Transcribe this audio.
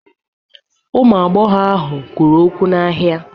Ụmụ agbọghọ ahụ kwuru okwu n'ahịa.